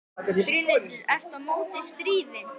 Brynhildur: Ert þú á móti stríði?